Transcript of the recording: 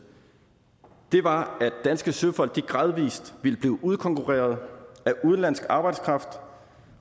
var at danske søfolk gradvis ville blive udkonkurreret af udenlandsk arbejdskraft